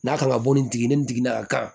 N'a kan ka bɔ nin jigin ni nin jiginna ka